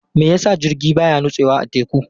Me yasa jirgi baya nutsewa a teku?